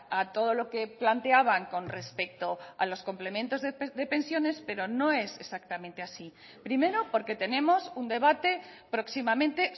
a todo lo que planteaban con respecto a los complementos de pensiones pero no es exactamente así primero porque tenemos un debate próximamente